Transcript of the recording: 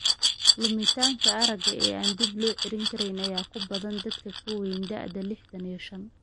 Lumitaanka aragga ee aan dib loo celin karin ayaa ku badan dadka ka weyn da'da liixdhaan iyo shaan.